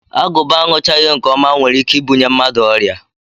Agụba aṅụchaghị nke ọma nwere ike ibunye mmadụ ọrịa